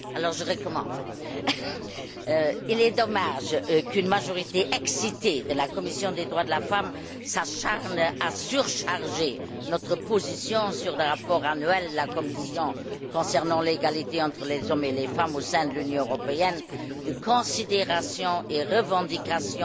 Monsieur le Président, il est dommage qu'une majorité excitée de la commission des droits de la femme s'acharne à surcharger notre position, sur le rapport annuel de la Commission concernant l'égalité entre les hommes et les femmes au sein de l'Union européenne, de considérations et revendications